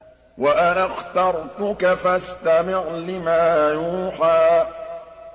وَأَنَا اخْتَرْتُكَ فَاسْتَمِعْ لِمَا يُوحَىٰ